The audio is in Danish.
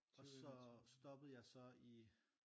Og så stoppede jeg så i